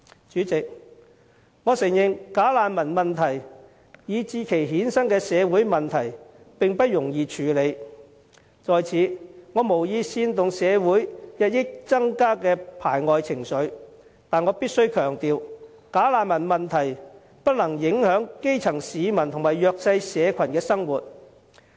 主席，我承認"假難民"問題以至其衍生的社會問題並不容易處理，我在此無意煽動社會日益增加的排外情緒，但我必須強調，"假難民"問題不能影響基層市民及弱勢社群的生活。